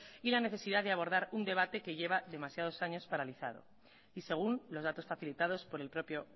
y la necesidad de abordar un debate que lleva demasiados años paralizado y según los datos facilitados por el propio